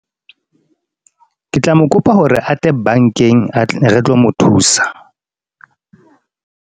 Ke tla mo kopa hore atle bank-eng, re tlo mo thusa.